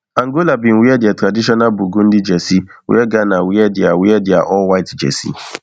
angola bin wear dia traditional burgundy jersey wia ghana wear dia wear dia allwhite jersey